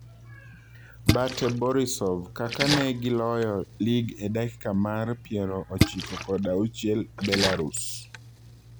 Bate Borisov kaka ne giloyo lig e dakika mar piero ochiko kod auchiel Belarus.